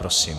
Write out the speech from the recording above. Prosím.